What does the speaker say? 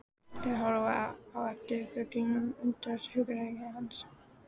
Þeir horfa á eftir fuglinum og undrast hugrekki hans.